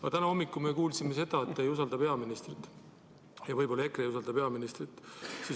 Aga täna hommikul me kuulsime, et te ei usalda peaministrit, ja võib-olla kogu EKRE ei usalda peaministrit.